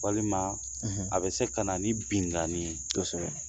Walima; ; A bɛ se ka na ni binanin ye; Kosɛbɛ.